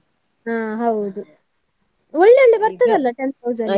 ಹಾ ಹೌದು ಒಳ್ಳೆ ಒಳ್ಳೆ ಬರ್ತದಲ್ಲ ten thousand .